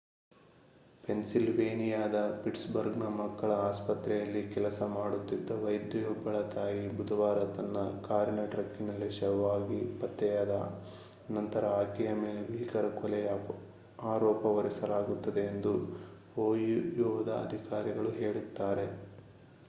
ಪೆನ್ಸಿಲ್ವೇನಿಯಾದ ಪಿಟ್ಸ್‌ಬರ್ಗ್‌ನ ಮಕ್ಕಳ ಆಸ್ಪತ್ರೆಯಲ್ಲಿ ಕೆಲಸ ಮಾಡುತ್ತಿದ್ದ ವೈದ್ಯೆಯೊಬ್ಬಳ ತಾಯಿ ಬುಧವಾರ ತನ್ನ ಕಾರಿನ ಟ್ರಂಕಿನಲ್ಲಿ ಶವವಾಗಿ ಪತ್ತೆಯಾದ ನಂತರ ಆಕೆಯ ಮೇಲೆ ಭೀಕರ ಕೊಲೆಯ ಆರೋಪ ಹೊರಿಸಲಾಗುತ್ತದೆ ಎಂದು ಓಹಿಯೋದ ಅಧಿಕಾರಿಗಳು ಹೇಳುತ್ತಾರೆ